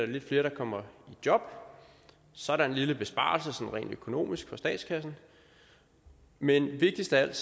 lidt flere der kommer i job så er der en lille besparelse sådan rent økonomisk for statskassen men vigtigst af alt